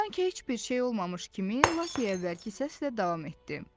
Sanki heç bir şey olmamış kimi Lakey əvvəlki səslə davam etdi.